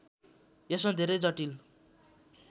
यसमा धेरै जटिल